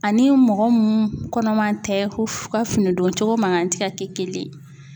Ani mɔgɔ mun kɔnɔman tɛ ko fo u ka fini don cogo mankan te ka kɛ kelen ye.